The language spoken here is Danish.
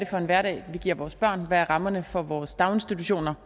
for en hverdag vi giver vores børn og hvad rammerne for vores daginstitutioner